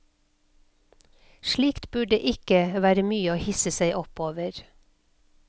Slikt burde ikke være mye å hisse seg opp over.